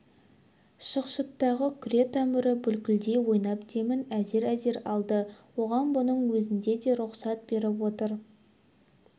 шықшыттағы күре тамыры бүлкілдей ойнап демін әзер-әзер алды оған бұның өзіне де рұқсат беріп отыр